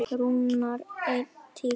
Rúnar: En tíkó?